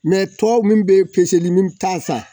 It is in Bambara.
Mɛ tɔw min bɛ peseli min bɛ taa san.